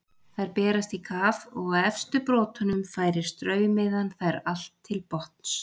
Þær berast í kaf, og á efstu brotunum færir straumiðan þær allt til botns.